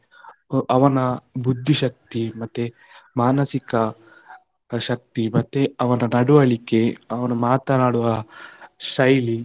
ಅವನ ಬುದ್ಧಿಶಕ್ತಿ, ಮತ್ತೆ ಮಾನಸಿಕ ಶಕ್ತಿ, ಮತ್ತೆ ಅವನ ನಡುವಳಿಕೆ, ಅವನು ಮಾತನಾಡುವ ಶೈಲಿ.